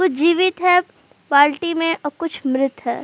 कुछ जीवित है बाल्टी में और कुछ मृत हैं।